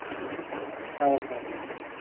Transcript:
mam ah okay mam thank you mam